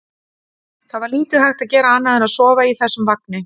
Það var lítið hægt að gera annað en að sofa í þessum vagni.